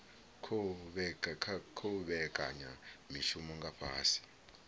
khou vhekanya mishumo nga fhasi